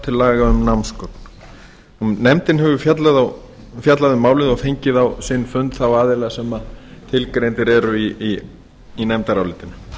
til laga um námsgögn nefndin hefur fjallað um málið og fengið á sinn fund þá aðila sem tilgreindir eru í nefndarálitinu